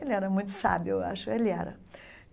Ele era muito sábio, eu acho ele era.